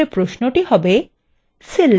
তাহলে প্রশ্নটি হবে :